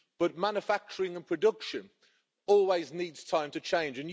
However, manufacturing and production always need time to change.